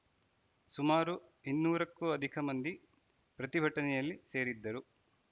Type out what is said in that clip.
ಸುಮಾರು ಇನ್ನೂರಕ್ಕೂ ಅಧಿಕ ಮಂದಿ ಪ್ರತಿಭಟನೆಯಲ್ಲಿ ಸೇರಿದ್ದರು